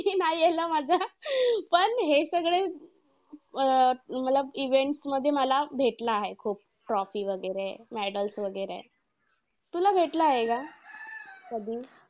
नाही आला माझा. पण हे सगळे अं मला events मध्ये मला भेटला आहे खूप trophy वगैरे medals वगैरे. तुला भेटला आहे का कधी?